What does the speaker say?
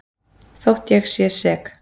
Þótt ég sé sek.